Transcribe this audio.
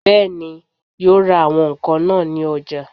Bẹ́ẹ̀ni, yóò ra àwọn ǹkan náà ní ọjà